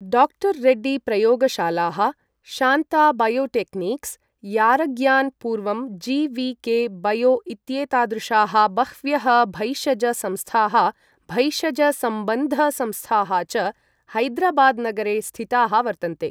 डा. रेड्डी प्रयोगशालाः, शान्ता बायोटेक्निक्स्, यारग्यान् पूर्वं जि.वि.के बयो इत्येतादृशाः बह्व्यः भैषज संस्थाः भैषजसम्बन्ध संस्थाः च हैदराबाद् नगरे स्थिताः वर्तन्ते।